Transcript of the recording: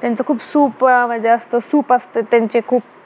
त्यांचं खूप सूप अं मध्ये असतं सूप असतं त्यांचे खूप